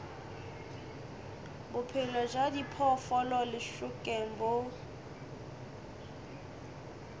bophelo bja diphoofolo lešokeng bo